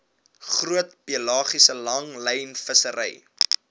groot pelagiese langlynvissery